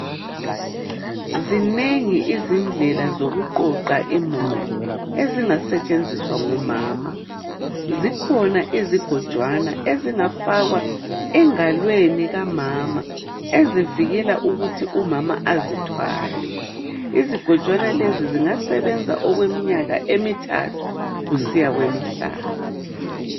Zinengi izindlela zokuqoqa imuli ezingasetshenziswa ngumama. Zikhona izigojwana ezingafakwa engalweni kamama ezivikela ukuthi umama azithwale. Izigojwana lezi zingasebenza okweminyaka emithathu kusiya kwemihlanu.